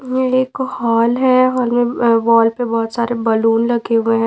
ये एक वॉल है और वॉल पे बहुत सारे बलून लगे हुए हैं।